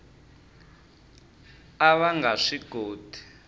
a va nga swi koti